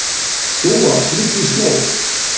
Dúa, hringdu í Snót.